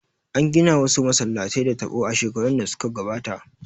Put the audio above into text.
An gina wasu masallatan da taɓo a shekarun da suka gabata